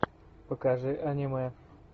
покажи аниме